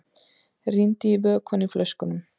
Rýndi í vökvann í flöskunum.